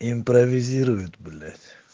импровизирует блять